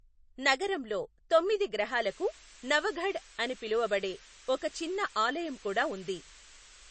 నగరంలో తొమ్మిది గ్రహాలకు నవఘడ్ అని పిలువబడే ఒక చిన్న ఆలయం కూడా ఉంది.